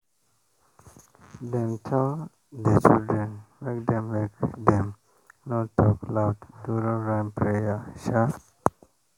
dem tell the children make dem make dem no talk loud during rain prayer.